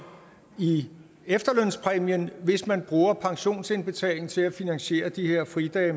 i efterlønspræmien hvis man bruger pensionsindbetalingen til at finansiere de her fridage